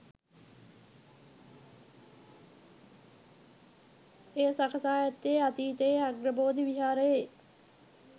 එය සකසා ඇත්තේ අතීතයේ අග්‍රබෝධි විහාරයේ